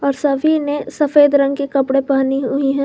सभी ने सफेद रंग के कपड़े पहनी हुई है।